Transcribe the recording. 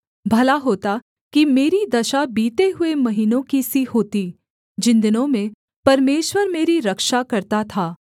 भला होता कि मेरी दशा बीते हुए महीनों की सी होती जिन दिनों में परमेश्वर मेरी रक्षा करता था